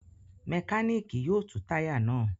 Mẹkáníkì yóò tú táyà náà.